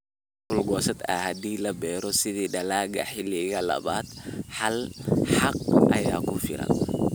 “Xaaq dhul-goosad ah, haddii la beero sida dalagga xilliga labaad, hal xaaq ayaa ku filan.